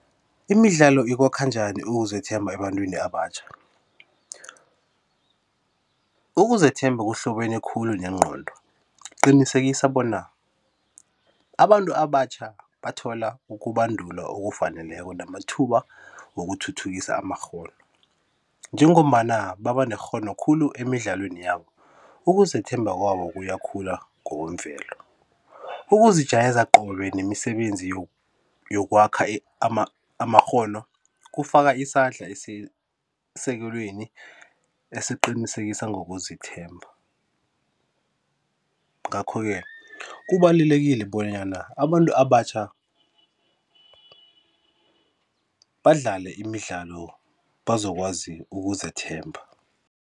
Imidlalo ikwakha njani ukuzethemba ebantwini abatjha? Ukuzethemba kuhlobene khulu nengqondo kuqinisekisa bona abantu abatjha bathola ukubandulwa okufaneleko namathuba wokuthuthukisa amarhono, njengombana baba nerhono khulu emidlalweni yabo, ukuzethemba kwabo kuyakhula ngokwemvelo. Ukuzijayeza qobe nemisebenzi yokwakha amarhono kufaka isandla esisekelweni esiqinisekisa ngokuzithemba, ngakho-ke kubalulekile bonyana abantu abatjha badlale imidlalo bazokwazi ukuzethemba.